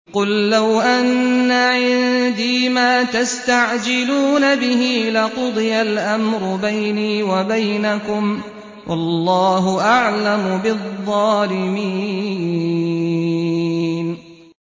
قُل لَّوْ أَنَّ عِندِي مَا تَسْتَعْجِلُونَ بِهِ لَقُضِيَ الْأَمْرُ بَيْنِي وَبَيْنَكُمْ ۗ وَاللَّهُ أَعْلَمُ بِالظَّالِمِينَ